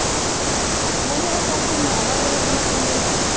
ਹਮੇਸ਼ਾ ਫੇਰ check ਹੁੰਦਾ ਨਾ ਉਹਦੇ ਵਿੱਚ ਮਸ਼ੀਨ ਦੇ ਵਿੱਚ,